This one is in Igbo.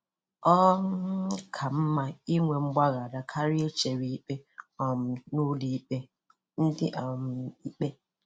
Ọ um ka mma inye mgbaghara karịa ichere ikpe um n'ụlọ ikpe - Ndị um ikpe